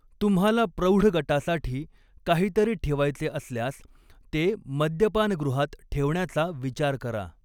तुम्हाला प्रौढ गटासाठी काहीतरी ठेवायचे असल्यास, ते मद्यपानगृहात ठेवण्याचा विचार करा.